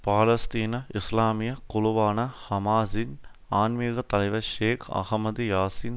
பாலஸ்தீன இஸ்லாமிய குழுவான ஹமாஸின் ஆன்மீகத்தலைவர் ஷேக் அஹமது யாசின்